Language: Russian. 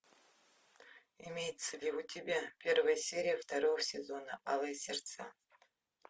имеется ли у тебя первая серия второго сезона алые сердца